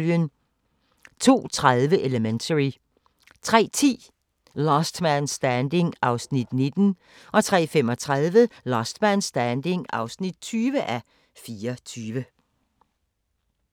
02:30: Elementary 03:10: Last Man Standing (19:24) 03:35: Last Man Standing (20:24)